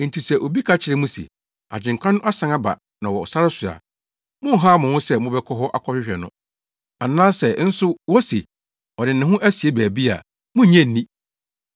“Enti sɛ obi ka kyerɛ mo se, ‘Agyenkwa no asan aba na ɔwɔ sare so a,’ monnhaw mo ho sɛ mobɛkɔ hɔ akɔhwehwɛ no. Anaasɛ nso wose, ‘Ɔde ne ho asie baabi a,’ munnnye nni!